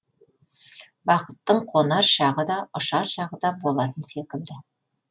бақыттың қонар шағы да ұшар шағы да болатын секілді